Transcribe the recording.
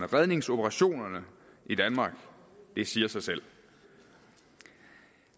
redningsoperationerne i danmark det siger sig selv